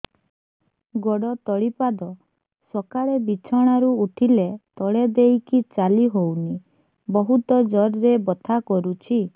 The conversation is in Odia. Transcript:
ଗୋଡ ତଳି ପାଦ ସକାଳେ ବିଛଣା ରୁ ଉଠିଲେ ତଳେ ଦେଇକି ଚାଲିହଉନି ବହୁତ ଜୋର ରେ ବଥା କରୁଛି